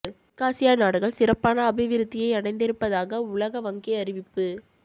தெற்காசியா நாடுகள் சிறப்பான அபிவிருத்தியை அடைந்திருப்பதாக உலக வங்கி அறிவிப்பு